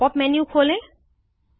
pop up menu खोलें